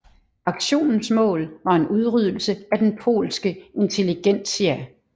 Aktionens mål var en udryddelse af den polske intelligentsia